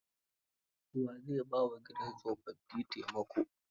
Wa zai ba wa gidan tsofaffi taimako?